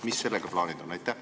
Mis plaanid sellega on?